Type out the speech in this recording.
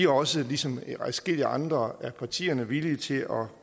også ligesom adskillige andre af partierne villige til at gå